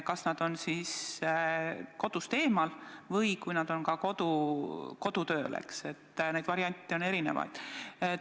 Kas nad on kodust eemal või nad on kodus töötamisega hõivatud – neid variante on erinevaid.